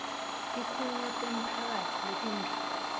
tikhungo temphakatsi letimbili